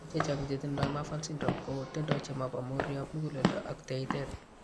Biik chechang' che tindo Marfan syndrome ko tindo che mo po muroap muguleldo ak teeyteet.